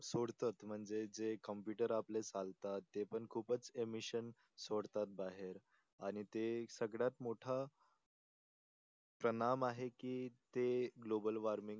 सोडतात म्हणजे जे कॉम्पुटर आपले चालतात ते पण खूप इमीशन सोडतात बाहेर आणि ते सगळ्यात मोठा तनाव आहे की ते गोबल वॉर्मिंग